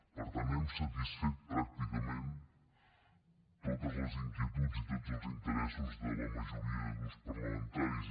per tant hem satisfet pràcticament totes les inquietuds i tots els interessos de la majoria de grups parlamentaris